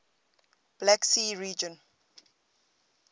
black sea region